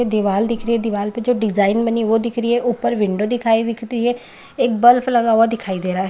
दीवाल दिख रही है दीवाल में डिज़ाइन बनी हुई वो दिख रखी है ऊपर विंडो दिखाई दिख रही है एक बल्ब लगा हुआ दिखाई दे रहा है ।